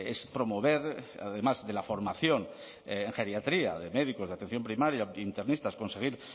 es promover además de la formación en geriatría de médicos de atención primaria internistas conseguir